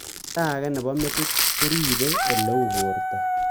Olda ag'e nepo metit ko ripei ole uu porto